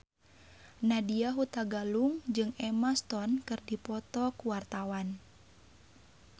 Nadya Hutagalung jeung Emma Stone keur dipoto ku wartawan